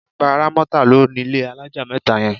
Bàbá Rámọ́tà ló nílé alájà mẹ́ta yẹn.